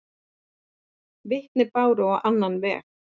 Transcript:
Vitni báru á annan veg.